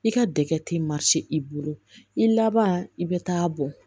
I ka dɛgɛ ti i bolo i laban i bɛ taa bɔn